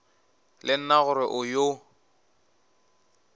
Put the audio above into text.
le nna gore o yo